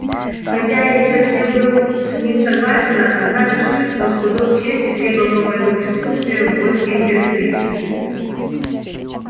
хотя я не совсем был с ним согласен однако ж чувствовал что долг чести требовал моего присутствия в войске императрицы